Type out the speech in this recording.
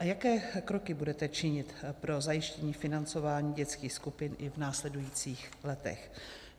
A jaké kroky budete činit pro zajištění financování dětských skupin i v následujících letech?